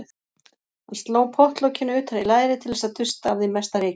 Hann sló pottlokinu utan í lærið til þess að dusta af því mesta rykið.